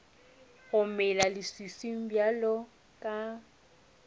go mela leswiswing bjalo ka